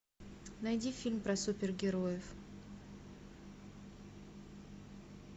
найди фильм про супергероев